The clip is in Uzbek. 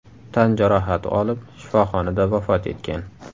tan jarohati olib shifoxonada vafot etgan.